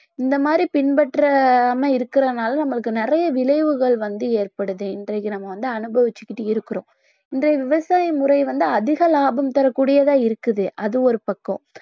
இந்த மாதிரி பின்பற்றாம இருக்குறதுனால நம்மளுக்கு நிறைய விளைவுகள் வந்து ஏற்படுது இன்றைக்கு நம்ம வந்து அனுபவிச்சிக்கிட்டு இருக்கிறோம் இன்றைய விவசாய முறை வந்து அதிக லாபம் தரக்கூடியதா இருக்குது அது ஒரு பக்கம்